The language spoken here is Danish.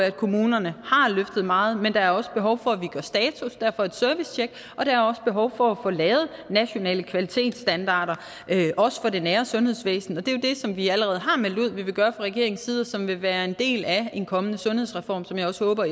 at kommunerne har løftet meget men der er også behov for at vi gør status derfor et servicetjek og der er også behov for at få lavet nationale kvalitetsstandarder også for det nære sundhedsvæsen og det er jo det som vi allerede har meldt ud vi vil gøre fra regeringens side og som vil være en del af en kommende sundhedsreform som jeg også håber